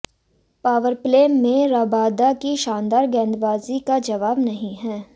powerplay में Rabada की शानदार गेंदबाजी का जवाब नहीं है